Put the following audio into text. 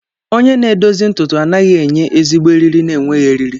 Onye na-edozi ntutu anaghị enye ezigbo eriri na-enweghị eriri.